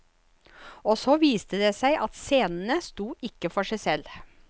Og så viste det seg at scenene sto ikke for seg selv.